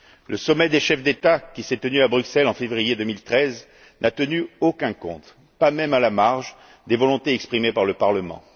Le sommet des chefs d'État qui s'est tenu à Bruxelles en février2013 n'a tenu aucun compte, pas même à la marge, des volontés exprimées par le Parlement.